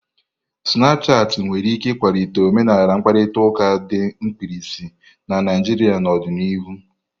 Snapushati nwere ike ịkwalite omenala mkparịta ụka dị mkpirisi na Naijria n'ọdịnihu.